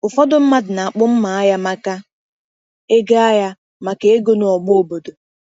Ụfọdụ mmadụ na-akpụ mma agha maka ego agha maka ego n’ọgba obodo.